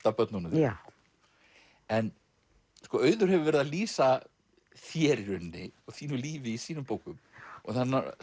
af börnunum þínum en sko Auður hefur verið að lýsa þér í rauninni og þínu lífi í sínum bókum og